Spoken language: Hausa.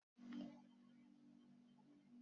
Kande ta yi kitson fulani.